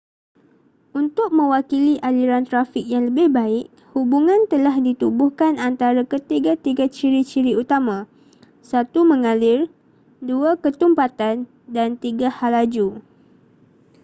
untuk mewakili aliran trafik yang lebih baik hubungan telah ditubuhkan antara ketiga-tiga ciri-ciri utama: 1 mengalir 2 ketumpatan dan 3 halaju